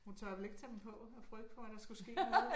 Hun tør vel ikke tage dem på af frygt for at der skulle noget